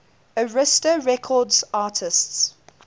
arista records artists